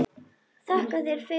Þakka þér fyrir.